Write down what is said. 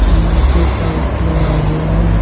अ नीचे टाइल्स लगा हुआ है।